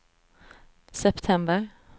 september